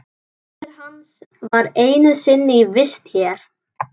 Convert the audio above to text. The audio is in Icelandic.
Móðir hans var einu sinni í vist hér.